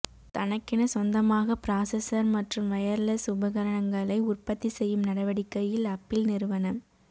தனக்கென சொந்தமாக பிராசஸர் மற்றும் வயர்லெஸ் உபகரணங்களை உற்பத்தி செய்யும் நடவடிக்கையில் அப்பிள் நிறுவன